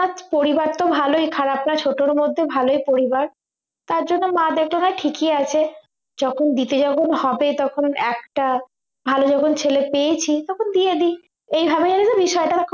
পরিবারতো ভালোই খারাপ না ছোটর মধ্যে ভালোই পরিবার তার জন্য মা দেখলো ঠিকই আছে যখন দিতেই যখন হবে তখন একটা ভালো যখন ছেলে পেয়েছি তখন দিয়ে দিক এই ভাবে বিষয়টা